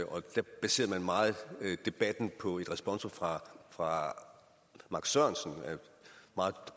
og da baserede man meget debatten på et responsum fra fra max sørensen en meget